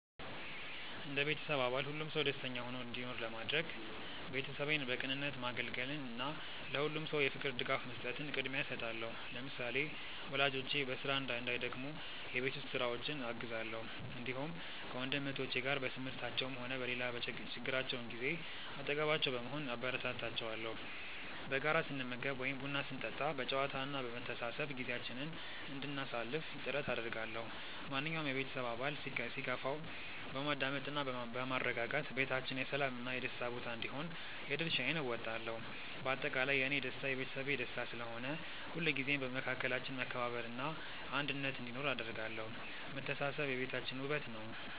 እንደ ቤተሰብ አባል ሁሉም ሰው ደስተኛ ሆኖ እንዲኖር ለማድረግ፣ ቤተሰቤን በቅንነት ማገልገልን እና ለሁሉም ሰው የፍቅር ድጋፍ መስጠትን ቅድሚያ እሰጣለሁ። ለምሳሌ፣ ወላጆቼ በስራ እንዳይደክሙ የቤት ውስጥ ስራዎችን አግዛለሁ፣ እንዲሁም ከወንድም እህቶቼ ጋር በትምህርታቸውም ሆነ በሌላ ችግራቸው ጊዜ አጠገባቸው በመሆን አበረታታቸዋለሁ። በጋራ ስንመገብ ወይም ቡና ስንጠጣ በጨዋታ እና በመተሳሰብ ጊዜያችንን እንድናሳልፍ ጥረት አደርጋለሁ። ማንኛውም የቤተሰብ አባል ሲከፋው በማዳመጥ እና በማረጋጋት ቤታችን የሰላም እና የደስታ ቦታ እንዲሆን የድርሻዬን እወጣለሁ። በአጠቃላይ፣ የእኔ ደስታ የቤተሰቤ ደስታ ስለሆነ፣ ሁልጊዜም በመካከላችን መከባበር እና አንድነት እንዲኖር አደርጋለሁ። መተሳሰብ የቤታችን ውበት ነው።